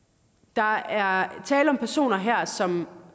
der er tale om personer her som